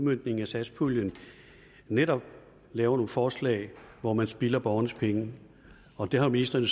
udmøntningen af satspuljen netop laver nogle forslag hvor hun spilder borgernes penge og det har ministeren